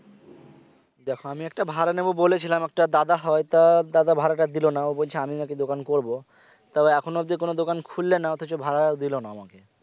দেখে আমি একটা ভাড়া নেব বলেছিলাম একটা দাদা হয় তা দাদা ভাড়াটা দিল না ও বলছে আমি নাকি দোকান করবো তবে এখন অব্দি কোন দোকান খুললে না অথচ ভাড়া দিল না আমাকে